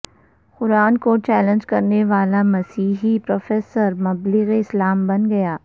قران کو چیلنج کرنے والامسیحی پروفیسر مبلغ اسلام بن گیا